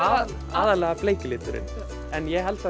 aðallega bleiki liturinn en ég held